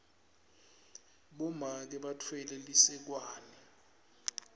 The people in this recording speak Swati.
bomake batfwele lisekwane